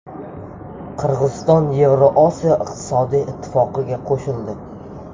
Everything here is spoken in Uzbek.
Qirg‘iziston Yevroosiyo iqtisodiy ittifoqiga qo‘shildi.